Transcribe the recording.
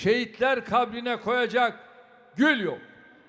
Şəhidlər qəbrinə qoyacaq gül yox.